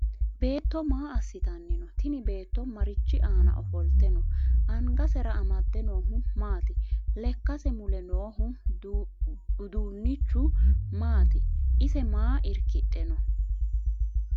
Beetto maa asitanni no? Tinni beetto marichi aanna ofolte no? Angasera amade noohu maati? Lekase mule noohu uduunichu maati? Ise maa irkidhe no?